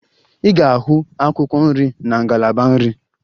Ị ga-ahụ akwụkwọ nri na ngalaba nri.